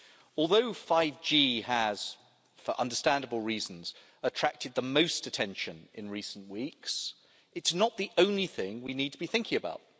Although 5G has, for understandable reasons, attracted the most attention in recent weeks, it's not the only thing we need to be thinking about.